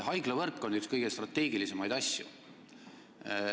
Haiglavõrk on üks kõige strateegilisemaid asju.